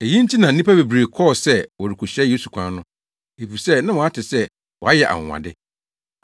Eyi nti na nnipa bebree kɔɔ se wɔrekohyia Yesu kwan no, efisɛ na wɔate sɛ wayɛ anwonwade.